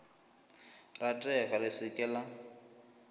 ratega le se ke la